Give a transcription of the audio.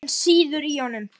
Reiðin sýður í honum.